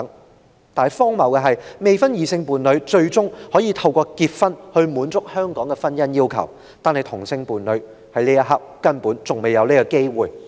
然而，荒謬的是，未婚異性伴侶最終可透過結婚以獲得香港法律承認，但同性伴侶目前仍未有這個機會。